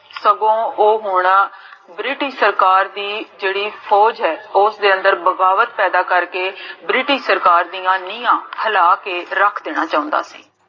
ਸਗੋਂ ਓਹ ਹੁਣ british ਸਰਕਾਰ ਦੀ ਜੇਹੜੀ ਫੋਜ ਹੈ, ਓਸਦੇ ਅੰਦਰ ਬਗਾਵਤ ਪੈਦਾ ਕਰ ਕੇ british ਸਰਕਾਰ ਦੀਆਂ ਨੀਹਾਂ ਹਲਾ ਕੇ ਰਖ ਦੇਣਾ ਚਾਹੁੰਦਾ ਸੀ